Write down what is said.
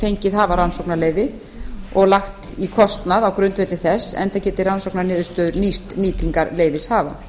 fengið hafa rannsóknarleyfi og lagt í kostnað á grundvelli þess enda geti rannsóknarniðurstöður nýst nýtingarleyfishafa